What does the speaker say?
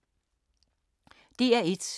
DR1